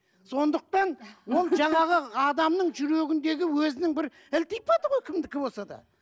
сондықтан ол жаңағы адамның жүрегіндегі өзінің бір ілтипаты ғой кімдікі болса да